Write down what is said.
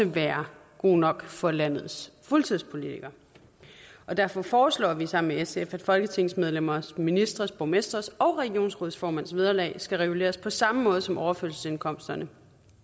være god nok for landets fuldtidspolitikere derfor foreslår vi sammen med sf at folketingsmedlemmers ministres borgmestres og regionsrådsformænds vederlag skal reguleres på samme måde som overførselsindkomsterne